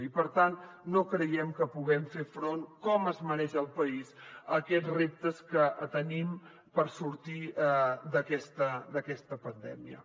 i per tant no creiem que puguem fer front com es mereix el país a aquests reptes que tenim per sortir d’aquesta pandèmia